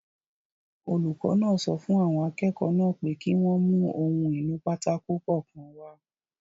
Olùkọ́ náà sọ fún àwọn akẹ́kọ̀ọ́ náà pé kí wọ́n mú ohun-ìnúpátákó kọ̀ọ̀kan wá